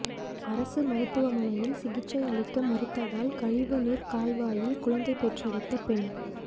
அரசு மருத்துவமனையில் சிகிச்சையளிக்க மறுத்ததால் கழிவுநீர் கால்வாயில் குழந்தை பெற்றெடுத்த பெண்